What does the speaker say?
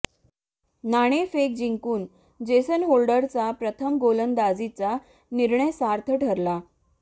नाणेफेक जिंकून जेसन होल्डरचा प्रथम गोलंदाजीचा निर्णय सार्थ ठरला